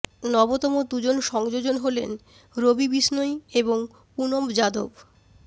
নবতম দুজন সংযোজন হলেন রবি বিষ্ণই এবং পুনম যাদব